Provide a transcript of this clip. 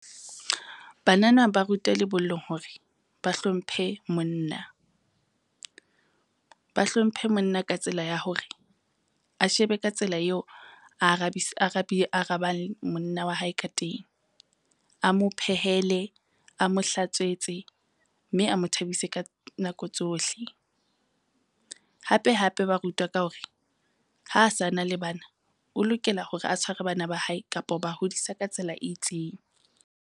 Banana ba ruta lebollong hore ba hlomphe monna, ba hlomphe monna ka tsela ya hore a shebe ka tsela eo a arabang monna wa hae ka teng. A mo phehele, a mo hlatswetse mme a mo thabise ka nako tsohle. Hape hape ba rutwa ka hore ha a sa na le bana, o lokela hore a tshware bana ba hae kapa ho ba hodisa ka tsela e itseng.